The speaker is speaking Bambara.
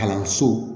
Kalanso